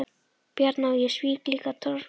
Bjarna og ég svík líka Torfhildi.